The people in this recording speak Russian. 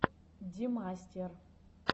демастер